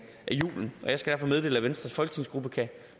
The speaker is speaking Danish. julen jeg skal derfor meddele at venstres folketingsgruppe kan